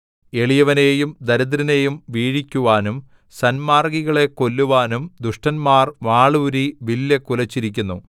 എളിയവനെയും ദരിദ്രനെയും വീഴിക്കുവാനും സന്മാർഗ്ഗികളെ കൊല്ലുവാനും ദുഷ്ടന്മാർ വാളൂരി വില്ല് കുലച്ചിരിക്കുന്നു